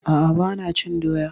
A'a, ba na cin doya